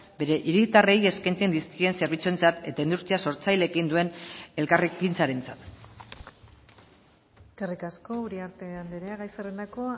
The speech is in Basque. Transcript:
bere hiritarrei eskaintzen dizkien zerbitzuentzat eta industria sortzaileekin duen elkarrekintzarentzat eskerrik asko uriarte andrea gai zerrendako